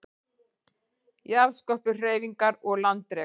Jarðskorpuhreyfingar og landrek